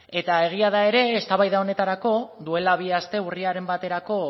eta egia da ere eztabaida honetarako duela bi aste urriaren baterako